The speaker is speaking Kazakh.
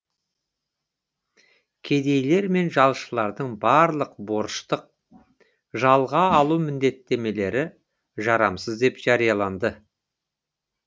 кедейлер мен жалшылардың барлық борыштық жалға алу міндеттемелері жарамсыз деп жарияланды